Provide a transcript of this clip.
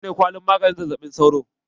Na wa ne kwalin maganin zazzaɓin sauro?